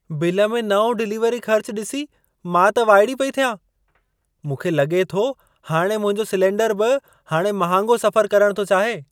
Bill में नओं delivery ख़र्च डि॒सी मां त वाइड़ी पेई थियां। मूंखे लगे॒ थो हाणे मुंहिंजो सिलिंडर बि हाणे महांगो सफ़र करण थो चाहे!